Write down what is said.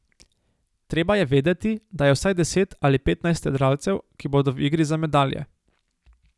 Treba je vedeti, da je vsaj deset ali petnajst jadralcev, ki bodo v igri za medalje.